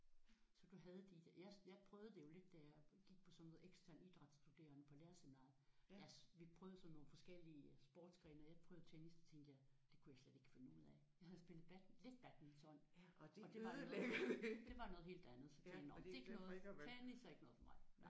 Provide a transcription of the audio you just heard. Så du havde dit jeg jeg prøvede det jo lidt da jeg gik på sådan noget ekstern idrætsstuderende på lærerseminaret. Jeg vi prøvede sådan nogle forskellige sportsgrene og jeg prøvede tennis så tænkte jeg det kunne jeg slet ikke finde ud af. Jeg havde spillet lidt badminton og det var noget det var noget helt andet. Så tænkte jeg nåh det er ikke noget. Tennis er ikke noget for mig